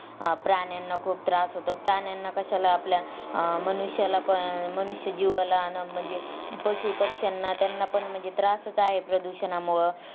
अं प्राण्यांना खूप त्रास होतो. प्राण्यांना कश्याला आपल्या अं मनुष्यालापण अं मनुष्य जीवाला पण म्हणजे पशु पक्ष्यांना त्यांना पण त्रासच आहे प्रदूषणामुळ